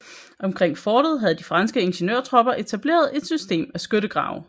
Omkring fortet havde de franske ingeniørtropper etableret et system af skyttegrave